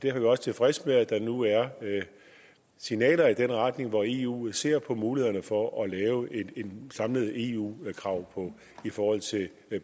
er vi også tilfredse med at der nu er signaler i den retning altså hvor eu ser på mulighederne for at lave samlede eu krav i forhold til